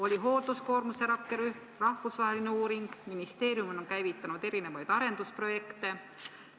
Oli hoolduskoormuse rakkerühm, rahvusvaheline uuring, ministeerium on käivitanud kõiksugu arendusprojekte jne.